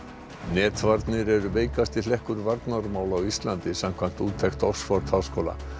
netvarnir eru veikasti hlekkur varnarmála á Íslandi samkvæmt úttekt Oxford háskóla